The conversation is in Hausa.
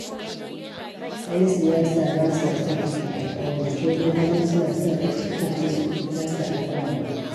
Yan siyasa ba sa son cika alƙawari, sai dai kuma suna so a cika musu nasu alƙawarin.